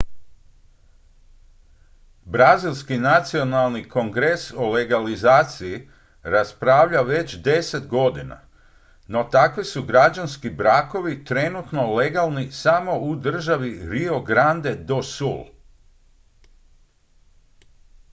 brazilski nacionalni kongres o legalizaciji raspravlja već 10 godina no takvi su građanski brakovi trenutno legalni samo u državi rio grande do sul